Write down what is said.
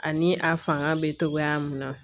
Ani a fanga bɛ togoya min na